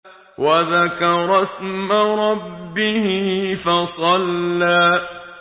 وَذَكَرَ اسْمَ رَبِّهِ فَصَلَّىٰ